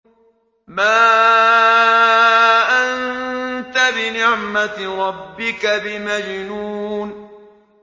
مَا أَنتَ بِنِعْمَةِ رَبِّكَ بِمَجْنُونٍ